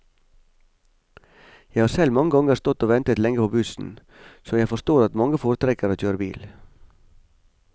Jeg har selv mange ganger stått og ventet lenge på bussen, så jeg forstår at mange foretrekker å kjøre bil.